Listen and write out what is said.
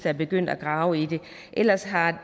er begyndt at grave i det ellers har